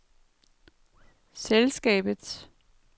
selskabets